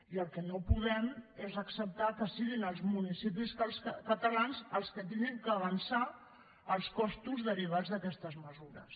i el que no podem és acceptar que siguin els municipis catalans els que hagin d’avançar els costos derivats d’aquestes mesures